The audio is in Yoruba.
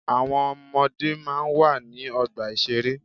Àwọn ọmọdé máa ń wà ní ọgbà ìṣeré.